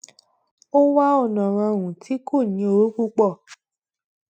ó wá ònà rọrùn tí kò ní owó púpọ